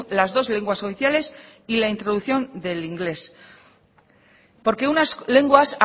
las dos lenguas oficiales y la introducción del inglés porque unas lenguas